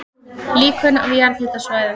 Líkön af jarðhitasvæðum